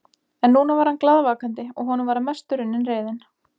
En núna var hann glaðvakandi og honum var að mestu runnin reiðin.